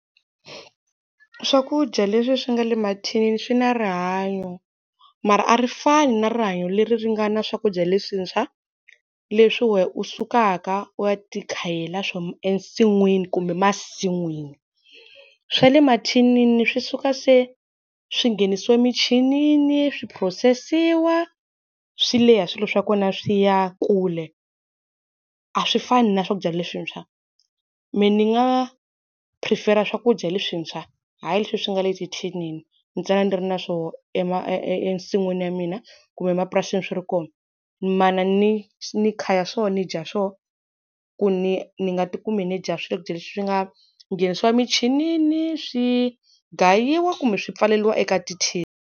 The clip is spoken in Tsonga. Swakudya leswi swi nga le mathinini swi na rihanyo. Mara a ri fani na rihanyo leri ri nga na swakudya leswintshwa, leswi wena u sukaka u ya ti khela swona ensin'wini kumbe masin'wini. Swa le mathinini swi suka se swi nghenisiwe michinini, swi phurosesiwa, swi leha swilo swa kona swi ya kule, a swi fani na swakudya leswintshwa. Mina ni nga phurifera swakudya leswintshwa hayi leswi swi nga le tithinini. Ntsena ni ri na swoho e e e e ensin'wini ya mina kumbe mapurasini swi ri kona. Mana ni ni kha swona ni dya swona, ku ni ni nga ti kumi ni dya swakudya leswi nga nghenisiwa michinini, swi gayiwa kumbe swi pfaleriwa eka tithini.